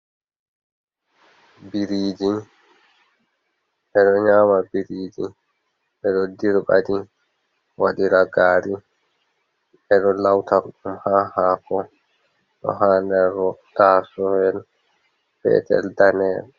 Biriiji, ɓe ɗo nyaama biriji, ɓe ɗo dirɓa ɗi waɗira gari. Ɓe ɗo lauta ɗum ha haako. Ɗo ha nder taasoyel petel, daneeyel.